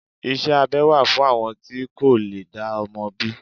Iṣẹ́ abẹ wà fún àwọn tí kò lè dá ọmọ bí.